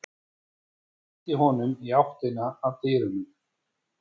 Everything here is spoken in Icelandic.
Ég ýti honum í áttina að dyrunum.